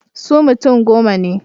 Su mutum goma ne.